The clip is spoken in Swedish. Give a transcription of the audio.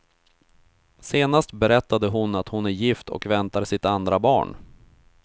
Senast berättade hon att hon är gift och väntar sitt andra barn.